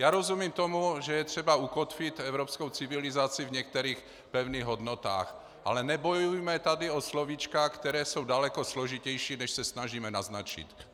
Já rozumím tomu, že je třeba ukotvit evropskou civilizaci v některých pevných hodnotách, ale nebojujme tady o slovíčka, která jsou daleko složitější, než se snažíme naznačit.